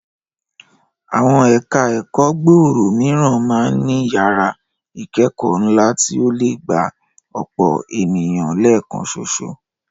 Àwọn ẹ̀ka ẹ̀kọ́ gbòòrò mìíràn máa ń ní yàrá ìkẹ́kọ̀ọ́ ńlá tí ó lè gba ọ̀pọ̀ ènìyàn lẹ́ẹ̀kan ṣoṣo